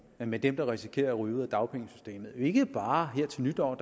med dem der risikerer at ryge ud af dagpengesystemet ikke bare her til nytår